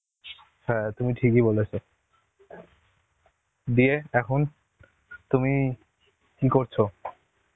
হ্যাঁ তুমি ঠিকই বলেছ. দিয়ে এখন তুমি কি করছো?